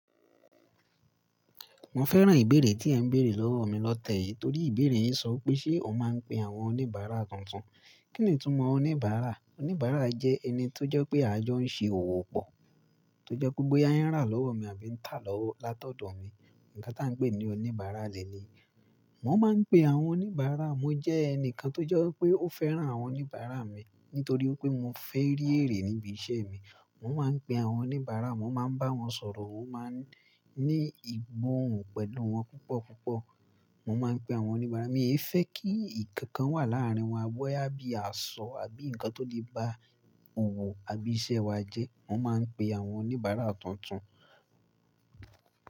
Mo fẹ́ràn ìbéèrè tí ẹ ń béèrè lọ́wọ́ mi lọ́tẹ̀ yìí torí ìbéèrè yín sọ pé ṣé mo máa ń pe àwọn oníbàárà tuntun. Kí ni ìtumọ̀ oníbàárà? Oníbàárà jẹ́ ẹni tó jẹ́ pé ajo ń ṣe òwò pọ̀, tó jẹ́ pé boya hin rà lọ́wọ́ mi àbí ń tà lọ́wọ́ látọ̀dọ̀ mi. Ǹkan tá ń pè ní oníbàárà leleyi. Mo máa ń pe àwọn oníbàárà. Mo jẹ́ ẹnìkan tó jẹ́ pé ó fẹ́ràn àwọn oníbàárà mi nítorí pé mo fẹ́ rí èrè níbi iṣẹ́ mi. Mo máa ń pe àwọn oníbàárà, mo máa ń bá wọn sọ̀rọ̀, mo máa ń ní ìgbóhun pẹ̀lú wọn púpọ̀ púpọ̀. Mo máa ń pe àwọn oníbàárà mi. Èmi fẹ́ kí nǹkan kan wà láàrin wa bóyá bí àṣọ àbí ǹkan tó lè bá òwò àbí iṣẹ́ wa jẹ́. Mo máa ń pe àwọn oníbàárà tuntun.